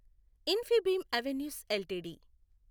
Infibeam Avenues LTD